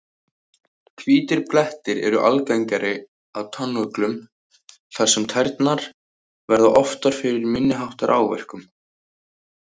Hvítir blettir eru algengari á tánöglum þar sem tærnar verða oftar fyrir minni háttar áverkum.